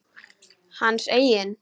Hans eigin?